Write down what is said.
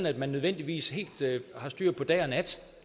at man nødvendigvis helt har styr på dag og nat